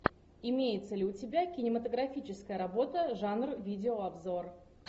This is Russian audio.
имеется ли у тебя кинематографическая работа жанр видеообзор